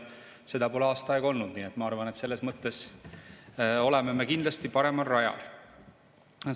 Seda pole aasta aega, nii et ma arvan, et selles mõttes oleme me kindlasti paremal rajal.